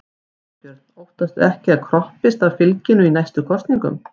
Þorbjörn: Óttastu ekki að það kroppist af fylginu í næstu kosningum?